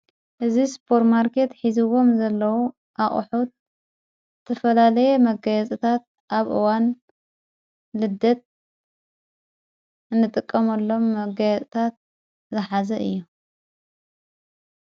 እዝ ስፖር ማርኬት ሒዝዎም ዘለዉ ኣቕሑት ዝተፈላለየ መጋያጽታት ኣብ እዋን ልደት እንጥቀመሎም መጋያጽታት ዝኃዘ እዮ።